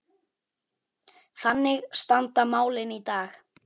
Þannig standa málin í dag.